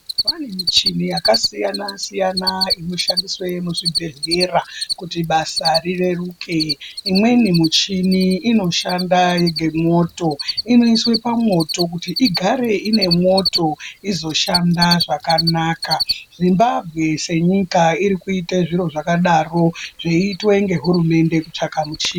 Kwane michini yakasiyana-siyana inoshandiswe muzvibhehlera kuti basa rireruke imweni michini inoshanda ngemwoto. inoiswe pamwoto kuti igare ine mwoto izoshanda zvakana. Zimbabwe senyika irikuite zviro zvakadaro zveiitwe ngehurumende kutsvaka muchi.